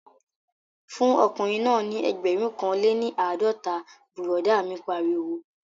Fún ọkùnrin náà ní ẹgbẹ̀rún kan lé ní àádọ́ta, bùrọ̀dá mi pariwo